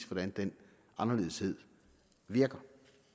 hvordan den anderledeshed virker